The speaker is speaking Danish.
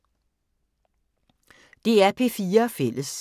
DR P4 Fælles